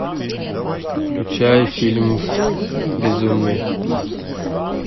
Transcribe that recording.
включай фильм безумные